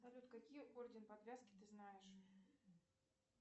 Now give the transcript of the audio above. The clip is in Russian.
салют какие орден подвязки ты знаешь